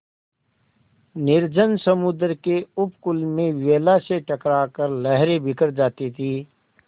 निर्जन समुद्र के उपकूल में वेला से टकरा कर लहरें बिखर जाती थीं